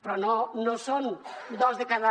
però no són dos de cada